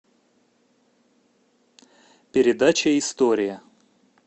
передача история